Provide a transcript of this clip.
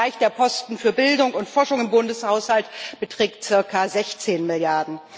Zum Vergleich Der Posten für Bildung und Forschung im Bundeshaushalt beträgt zirka 16 Mrd.